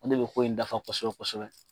An de bɛ ko in dafa kɔsɛbɛ kosɛbɛ.